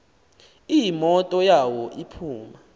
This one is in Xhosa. imoto yawo iphuma